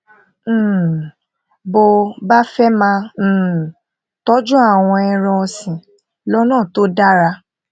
um bó o bá fé máa um tójú àwọn ẹran òsìn lónà tó dára